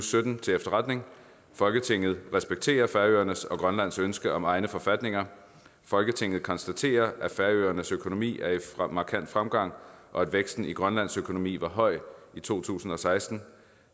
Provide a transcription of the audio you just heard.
sytten til efterretning folketinget respekterer færøernes og grønlands ønske om egne forfatninger folketinget konstaterer at færøernes økonomi er i markant fremgang og at væksten i grønlands økonomi var høj i to tusind og seksten